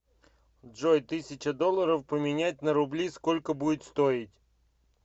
джой тысяча долларов поменять на рубли сколько будет стоить